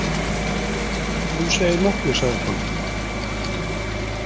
Þú segir nokkuð, sagði konan.